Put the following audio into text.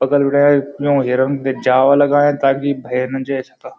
बगल बिटे यौं हिरन ते जाला लगयाँ ताकि भैर न जे सका।